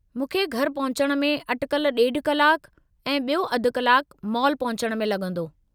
मूंखे घरि पहुचण में अटिकल ॾेढु कलाकु ऐं ॿियो अधु कलाकु मॉल पहुचणु में लॻंदो।